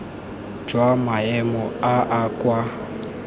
jwa maemo a a kwa